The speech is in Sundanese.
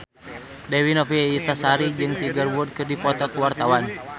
Dewi Novitasari jeung Tiger Wood keur dipoto ku wartawan